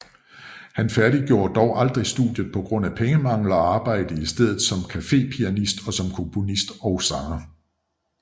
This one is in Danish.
Han færdiggjorde dog aldrig studiet på grund af pengemangel og arbejdede i stedet som cafepianist og som komponist og sanger